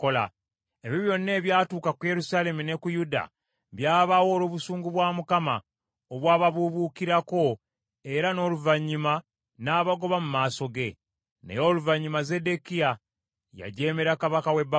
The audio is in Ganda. Ebyo byonna ebyatuuka ku Yerusaalemi ne ku Yuda, byabaawo olw’obusungu bwa Mukama obwababubuukirako, era n’oluvannyuma n’abagoba mu maaso ge. Naye oluvannyuma Zeddekiya y’ajeemera kabaka w’e Babulooni.